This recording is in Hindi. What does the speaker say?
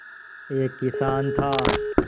एक किसान था